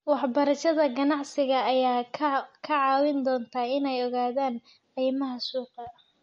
Waxbarashada ganacsiga ayaa ka caawin doonta inay ogaadaan qiimaha suuqa.